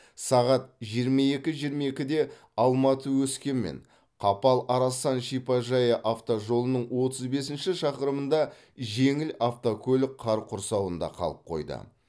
сағат жиырма екі жиырма екіде алматы өскемен қапал арасан шипажайы автожолының отыз бесінші шақырымында жеңіл автокөлік қар құрсауында қалып қойды